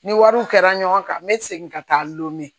Ni wariw kɛra ɲɔgɔn kan n be segin ka taa lome